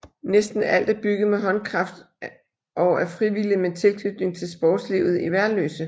Næsten alt er bygget med håndkraft og af frivillige med tilknytning til sportslivet i Værløse